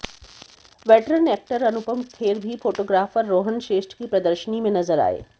veteran actor Anupam Kher भी photographer Rohan Shrestha की प्रदर्शनी में नजर आए